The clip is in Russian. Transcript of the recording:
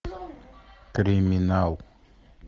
криминал